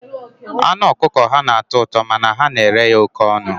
Anụ ọkụkọ ha na-atọ ụtọ, mana ha na-ere ya oké ọnụ.